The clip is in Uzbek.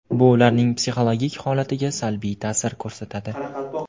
Bu ularning psixologik holatiga salbiy ta’sir ko‘rsatadi.